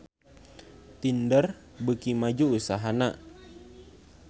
Tinder beuki maju usahana